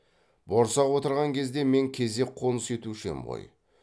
борсақ отырған кезде мен кезек қоныс етуші ем ғой